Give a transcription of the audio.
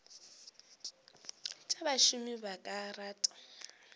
tša bašomi ba ka rata